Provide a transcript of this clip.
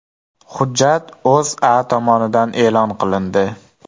Hujjat O‘zA tomonidan e’lon qilindi .